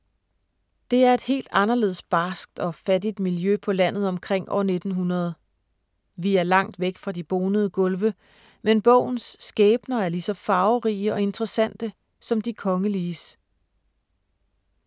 Det er et helt anderledes barskt og fattigt miljø på landet omkring år 1900. Vi er langt væk fra de bonede gulve, men bogens skæbner er lige så farverige og interessante, som de kongeliges.